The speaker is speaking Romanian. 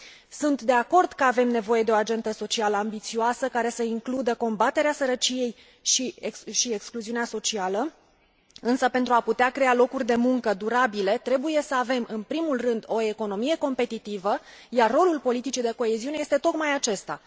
Sunt de acord că avem nevoie de o agendă socială ambițioasă, care să includă combaterea sărăciei și excluziunii sociale, însă, pentru a putea crea locuri de muncă durabile, trebuie să avem în primul rând o economie competitivă, iar rolul politicii de coeziune este tocmai acesta.